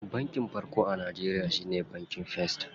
Banki farko a Najeriya shine bankin first.